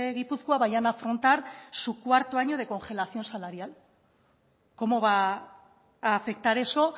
gipuzkoa vayan a afrontar su cuarto año de congelación salarial cómo va a afectar eso